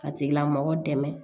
Ka tigilamɔgɔ dɛmɛ